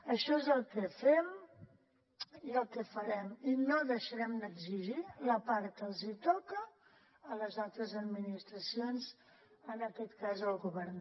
això és el que fem i el que farem i no deixarem d’exigir la part que els toca a les altres administracions en aquest cas el govern